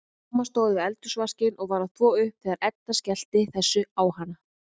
Mamma stóð við eldhúsvaskinn og var að þvo upp þegar Edda skellti þessu á hana.